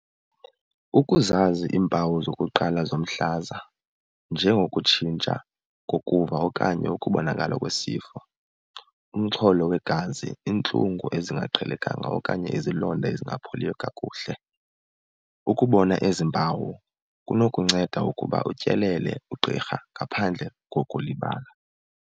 Ukuzazi iimpawu zokuqala zomhlaza njengokutshintsha ngokuva okanye ukubonakala kwesi sifo, umxholo wegazi, iintlungu ezingaqhelekanga okanye izilonda ezingapholiyo kakuhle. Ukubona ezi mpawu kunokunceda ukuba utyelele ugqirha ngaphandle kokulibala.